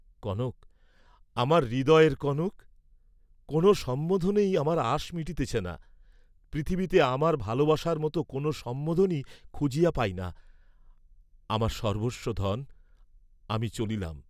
কনক, আমার হৃদয়ের কনক, কোন সম্বোধনেই আমার আশ মিটিতেছে না, পৃথিবীতে আমার ভালবাসার মত কোন সম্বোধনই খুঁজিয়া পাই না, আমার সর্ব্বস্বধন, আমি চলিলাম।